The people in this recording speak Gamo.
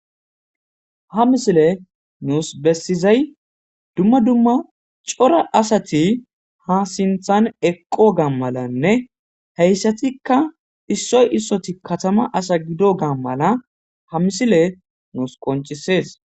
Ha misile nuus bessizay dumma dumma cora asati ha sinthan eqqo gammalanne heyssatikka issoy issoti katama asa gido gaa mala ha misile nuus qoncisees.